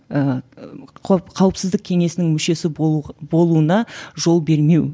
ііі қауіпсіздік кеңесінің мүшесі болу болуына жол бермеу